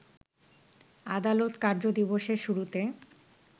আদালত কার্যদিবসের শুরুতে